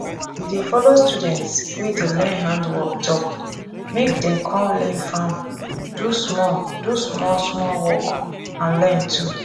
we dey follow students wey dey learn handwork talk make dem come farm do small do small small work and learn too